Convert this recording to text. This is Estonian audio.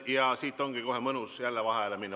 Ja siit ongi kohe mõnus jälle vaheajale minna.